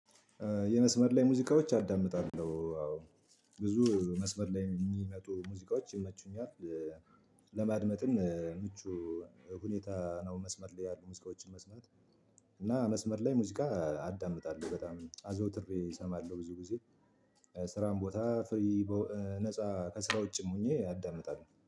የመስመር ላይ ሙዚቃዎች አዳምጣለሁ አዎ ብዙ መስመር ላይ የሚመጡ ሙዚቃዎች ይመቹኛል። ለማድመጥም ምቹ ሁኔታ ነው። መስመር ላይ ያሉ ሙዚቃዎችን መስማት። እና መስመር ላይ ሙዚቃ አዳምጣለሁ በጣም አዘውትሬ እሰማለሁ ብዙ ጊዜ። ስራን ቦታ ፍሪ ነፃ ከስራ ውጭ ሆኜ አዳምጣለሁ